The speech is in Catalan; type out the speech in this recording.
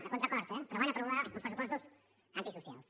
a contracor eh però van aprovar uns pressupostos antisocials